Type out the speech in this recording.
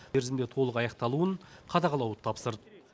мерзімде толық аяқталуын қадағалауын тапсырды